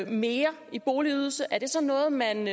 mere i boligydelse er det så noget man